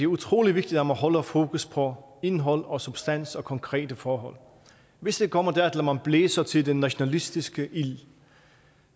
utrolig vigtigt at man holder fokus på indhold substans og konkrete forhold hvis det kommer dertil at man blæser til den nationalistiske ild